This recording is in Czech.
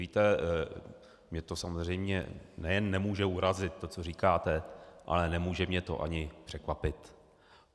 Víte, mě to samozřejmě nejen nemůže urazit, to, co říkáte, ale nemůže mě to ani překvapit.